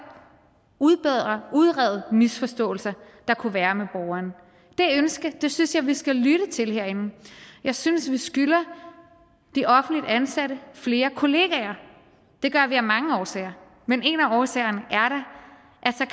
udbedre udrede misforståelser der kunne være med borgeren det ønske synes jeg vi skal lytte til herinde jeg synes vi skylder de offentligt ansatte flere kollegaer det gør vi af mange årsager men en af årsagerne